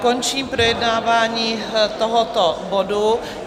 Končím projednávání tohoto bodu.